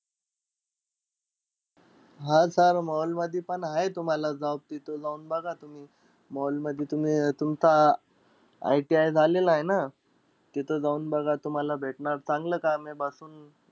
हा sir mall मधीपण आहे तुम्हाला job तिथं जाऊन बघा तुम्ही. Mall मधी. तुम्ही तुमचा ITI झालेलाय ना. तिथं जाऊन बघा तुम्हाला भेटणार चांगलं काम आहे बसून.